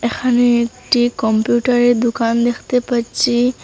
এখানে একটি কম্পিউটারের দোকান দেখতে পাচ্ছি।